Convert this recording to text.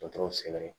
Dɔtɔrɔw selen